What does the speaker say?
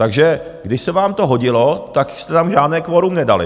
Takže když se vám to hodilo, tak jste tam žádné kvorum nedali.